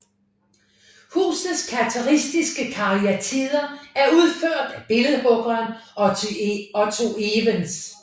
Husets karakteristiske karyatider er udført af billedhuggeren Otto Evens